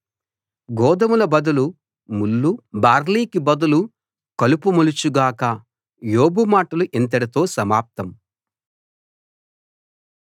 గోదుమల బదులు ముళ్లు బార్లీకి బదులు కలుపు మొలచు గాక యోబు మాటలు ఇంతటితో సమాప్తం